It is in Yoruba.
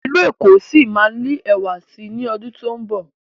ilú ẹko sí má lẹwa sí ní ọdun to'n nbọ